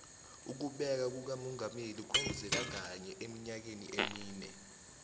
ukubekwa kukamongameli kwenzeka kanye emnyakeni emine